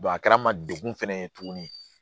a kɛra ma degun fɛnɛ ye tugun